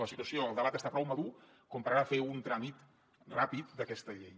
la situació el debat està prou madur com per ara fer un tràmit ràpid d’aquesta llei